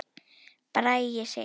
Bragi Sig.